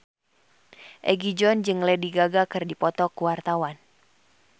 Egi John jeung Lady Gaga keur dipoto ku wartawan